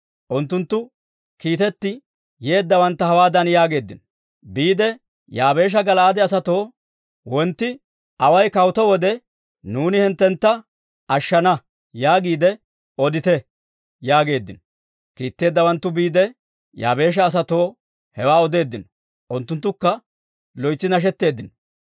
Unttunttu kiitetti yeeddawantta hawaadan yaageeddino; «Biide Yaabeesha Gala'aade asatoo, ‹Wontti awa kawutto wode, nuuni hinttentta ashshana› yaagiide odite» yaageeddino. Kiitetteeddawanttu biide, Yaabeesha asatoo hewaa odeeddino; unttunttukka loytsi nashetteeddino.